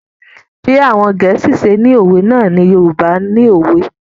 Bí àwọn Gẹ̀ẹ́sì ṣe ni òwe náà ni Yorùbá ni òwe.